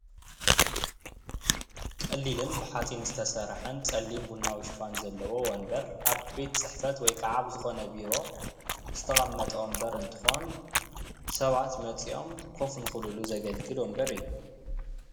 ቀሊልን ብሓጺን ዝተሰርሐን ፀሊም ቡናዊ ሽፋን ዘለዎ ወንበር ኣብ ቤት ፅሕፈት ወይ ከዓ ኣብ ዝኮነ ቢሮ ዝተቀመጠ እንትኮን ሰባት መፂኦም ኮፍ ንክብልሉ ዘገልግል ወንበር እዩ፡፡